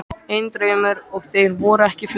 Einn draumur, og þeir voru ekki fleiri.